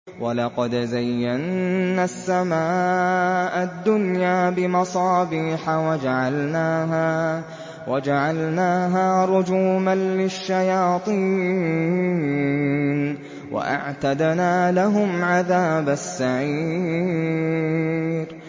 وَلَقَدْ زَيَّنَّا السَّمَاءَ الدُّنْيَا بِمَصَابِيحَ وَجَعَلْنَاهَا رُجُومًا لِّلشَّيَاطِينِ ۖ وَأَعْتَدْنَا لَهُمْ عَذَابَ السَّعِيرِ